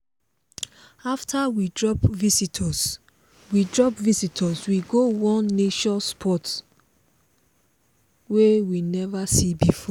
after we drop visitors we drop visitors we go one nature spot we never see before.